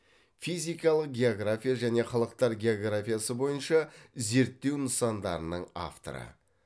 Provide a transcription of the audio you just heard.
физикалық география және халықтар географиясы бойынша зерттеу нысандарының авторы